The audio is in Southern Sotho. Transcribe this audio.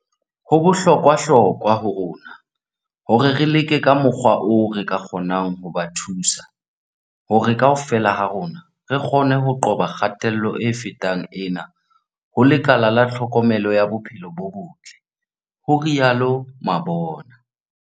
"Ho bohlokwa hlokwa ho rona hore re leke ka mokgwa oo re ka kgonang ho ba thusa hore kaofela ha rona re kgone ho qoba kgatello e fetang ena ho lekala la tlhokomelo ya bophelo bo botle," ho rialo Mabona.